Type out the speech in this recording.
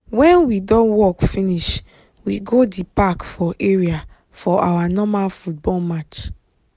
when we don work finish we go di park for area for our normal football match